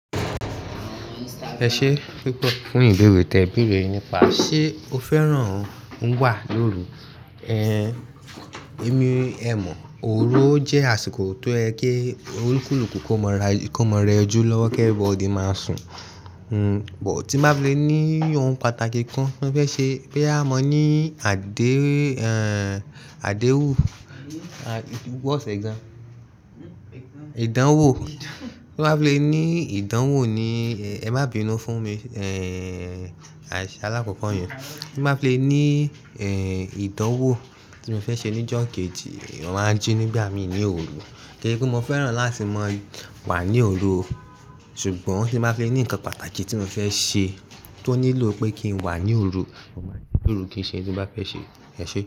Ẹ ṣé púpọ̀ fún ìbéèrè tè, ìbéèrè nípa ṣé o féràn wà lóru. Ehn, èmi ẹ mọ̀ oró jẹ́ àsìkò tó ẹkẹ olúkúlùkù kó máa ra, kó máa rẹjú lọ́wọ́ kí everybody máa sùn. Hmm, bọ̀ tí má fi lè ní ohun pàtàkì kan tí ó fẹ́ ṣe, bí à mọ ní àdé, ehn àdéwù, wọ́sẹ gan, ìdánwò, tí má fi lè ní ìdánwò ni ẹ má bínu fún mi, ehn aṣiṣe alákọ̀kọ̀ yẹn. Tí má fi lè ní ehn ìdánwò tí mo fẹ́ ṣe ní kegi, ènìyàn máa ń jí ní bí à mi ní òru. Kíni pé mo féràn láti má wà ní òru, ṣùgbọ́n tí má fi lè ní nǹkan pàtàkì tí mo fẹ́ ṣe tó nílò pé kí n wà ní òru, mo máa ní lóru kí ì ṣe ohun tí mo bá fẹ́ ṣe. Ẹ ṣé púpọ̀